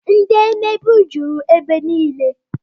Ndị mmegbu jụrụ ebe niile